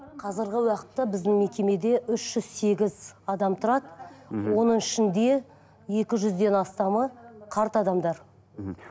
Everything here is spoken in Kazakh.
қазіргі уақытта біздің мекемеде үш жүз сегіз адам тұрады мхм оның ішінде екі жүзден астамы қарт адамдар мхм